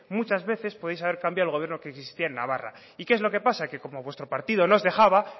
muchas veces podríais haber cambiado el gobierno que existía en navarra y qué es lo que pasa que como vuestro partido no os dejaba